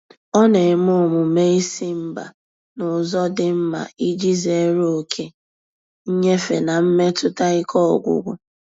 Ọ na-eme omume ịsị mba n'ụzọ dị mma iji zere oke nyefe na mmetụta ike ọgwụgwụ.